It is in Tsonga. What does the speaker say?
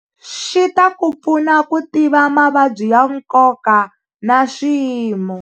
Xi ta ku pfuna ku tiva mavabyi ya nkoka na swiyimo.